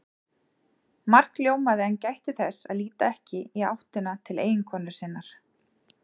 Mark ljómaði en gætti þess að líta ekki í áttina til eiginkonu sinnar.